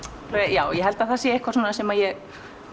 já ég held að það sé eitthvað svona sem ég